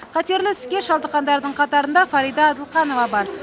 қатерлі ісікке шалдыққандардың қатарында фарида адылханова бар